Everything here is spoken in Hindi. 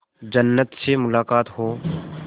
जन्नत से मुलाकात हो